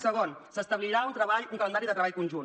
segon s’establirà un calendari de treball conjunt